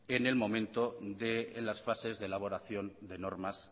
en el momento de las fases de elaboración de normas